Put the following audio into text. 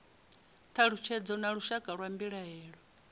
thalutshedzo na lushaka lwa mbilaelo